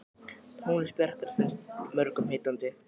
Tónlist Bjarkar finnst mörgum heillandi.